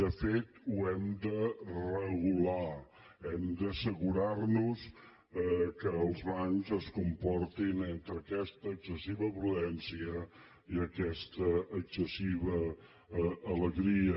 de fet ho hem de regular hem d’assegurar nos que els bancs es comportin entre aquesta excessiva prudència i aquesta excessiva alegria